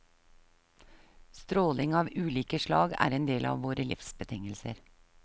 Stråling av ulike slag er en del av våre livsbetingelser.